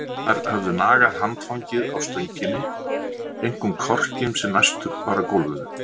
Mýsnar höfðu nagað handfangið á stönginni, einkum korkinn sem næstur var gólfinu.